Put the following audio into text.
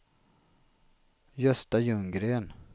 Gösta Ljunggren